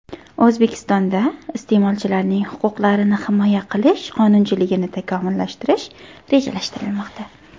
O‘zbekistonda iste’molchilarning huquqlarini himoya qilish qonunchiligini takomillashtirish rejalashtirilmoqda.